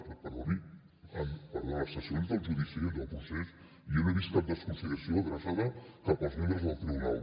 perdoni perdó en les sessions del judici del procés jo no he vist cap desconsideració adreçada cap als membres del tribunal